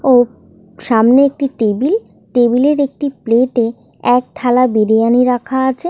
ও সামনে একটি table table এর একটি প্লেট -এ এক থালা বিরিয়ানি রাখা আছে।